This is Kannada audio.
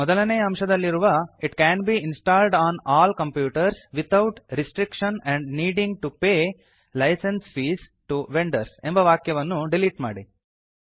ಮೊದಲನೇಯ ಅಂಶದಲ್ಲಿರುವ it can be installed on all computers without restriction or needing to pay licence fees to vendors ಎಂಬ ವಾಕ್ಯವನ್ನು ಡಿಲೀಟ್ ಮಾಡಿ